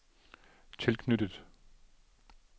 tilknyttet